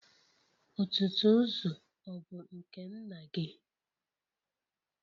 Ọ̀tụ̀tụ̀zụ̀ ọ̀ bụ nke nna gị?